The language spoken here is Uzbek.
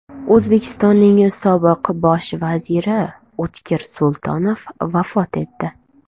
O‘zbekistonning sobiq bosh vaziri O‘tkir Sultonov vafot etdi.